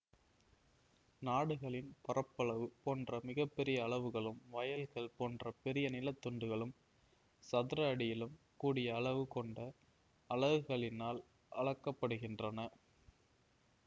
நாடுகளின் பரப்பளவு போன்ற மிக பெரிய அளவுகளும் வயல்கள் போன்ற பெரிய நில துண்டுகளும் சதுர அடியிலும் கூடிய அளவு கொண்ட அலகுகளினால் அளக்க படுகின்றன